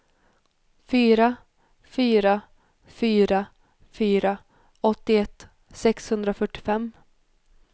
fyra fyra fyra fyra åttioett sexhundrafyrtiofem